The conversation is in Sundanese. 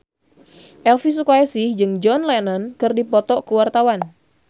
Elvi Sukaesih jeung John Lennon keur dipoto ku wartawan